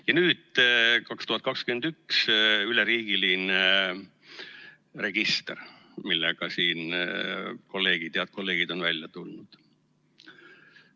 Ja nüüd, 2021 üleriigiline register, millega siin head kolleegid on välja tulnud.